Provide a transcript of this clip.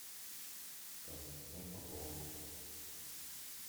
константин попов